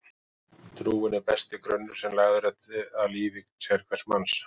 Trúin er besti grunnur sem lagður er að lífi sérhvers manns.